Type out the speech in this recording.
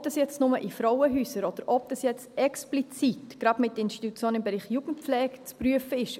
Ob das jetzt nur in Frauenhäusern oder ob das jetzt explizit gerade mit Institutionen im Bereich Jugendpflege zu prüfen ist: